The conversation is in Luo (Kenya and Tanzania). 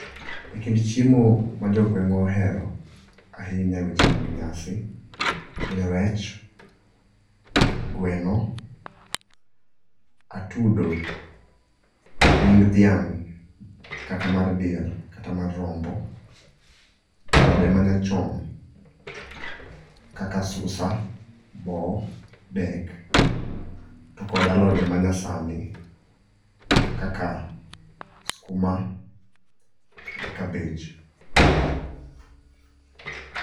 E kind chiemo ma jogweng'wa ohero ahinya e weche mag nyasi gin rech, gweno, atudo, ring dhiang' kata mar diel kata mar rombo, alode manyachon, kaka susa, bo, dek to kod alode manyasani kaka skuma gi cabbage.